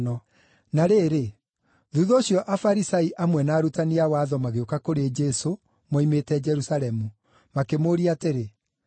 Na rĩrĩ, thuutha ũcio Afarisai amwe na arutani a watho magĩũka kũrĩ Jesũ moimĩte Jerusalemu, makĩmũũria atĩrĩ,